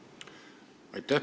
Aitäh!